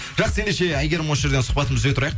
жақсы ендеше әйгерім осы жерден сұхбатымызды үзе тұрайық